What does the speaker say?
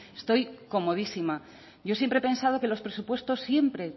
estoy comodísima yo siempre he pensado que los presupuestos siempre